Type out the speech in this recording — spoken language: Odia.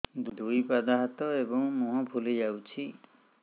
ଦୁଇ ପାଦ ହାତ ଏବଂ ମୁହଁ ଫୁଲି ଯାଉଛି